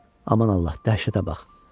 Aman Allah, dəhşətə bax.